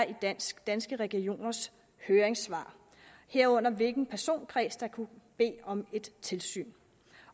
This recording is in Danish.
i danske danske regioners høringssvar herunder hvilken personkreds der kunne bede om et tilsyn